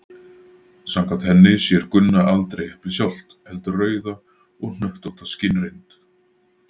samkvæmt henni sér gunna aldrei eplið sjálft heldur rauða og hnöttótta skynreynd